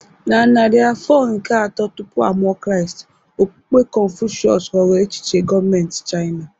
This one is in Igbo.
Na narị afọ nke atọ tupu a mụọ Kraịst, okpukpe Kọnfushịọs ghọrọ echiche gọọmentị Chaịna.